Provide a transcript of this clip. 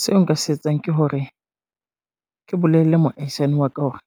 Seo nka se etsang ke hore, ke bolelle moaisani wa ka hore,